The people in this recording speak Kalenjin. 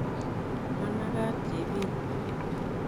Managat chepin?